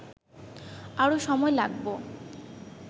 আরো সময় লাগব